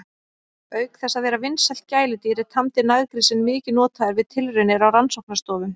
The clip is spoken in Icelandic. Auk þess að vera vinsælt gæludýr er tamdi naggrísinn mikið notaður við tilraunir á rannsóknastofum.